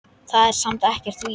Það er samt ekkert víst.